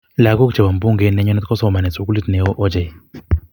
Lakok che bo mbungeit ne nyone kosomonik sukulit ne oo ochei.